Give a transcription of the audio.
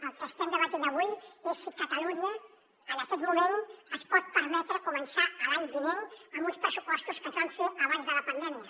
el que estem debatent avui és si catalunya en aquest moment es pot permetre començar l’any vinent amb uns pressupostos que es van fer abans de la pandèmia